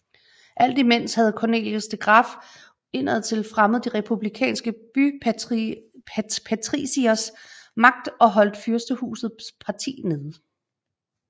Alt imens havde Cornelis de Graeff indadtil fremmet de republikanske bypatricieres magt og holdt fyrstehusets parti nede